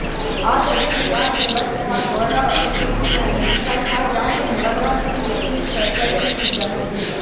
ಆದರೆ ಸಿಂಗ್ ಆಕೆಯ ಬಟ್ಟೆ ಹಾಗೂ ಒಳೌಡುಪಿನಲ್ಲಿ ಕೈ ಹಾಕಿ ಆಕೆಯನ್ನು ಬಲವಂತದಿಂದ ಚುಂಬಿಸಲು ಪ್ರಯತ್ನಿಸಿದ್ದನು